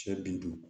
Sɛ bin duuru